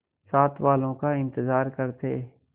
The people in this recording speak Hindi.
साथ वालों का इंतजार करते